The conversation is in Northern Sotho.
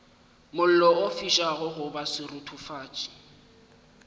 mollo o fišago goba seruthufatši